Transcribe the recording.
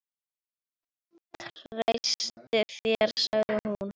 Ég treysti þér sagði hún.